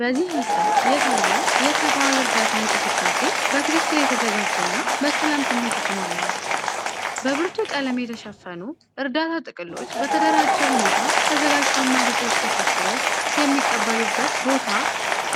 በዚህ ምስል የታየው የሰብአዊ እርዳታ እንቅስቃሴ በትክክል የተዘጋጀ እና በሰላም ስሜት የተሞላ ነው። በብርቱ ቀለም የተሸፈኑ እርዳታ ጥቅሎች በተደራጀ ሁኔታ ተዘጋጀው እና በሰዎች ተሰብስበው የሚቀበሉበት ቦታ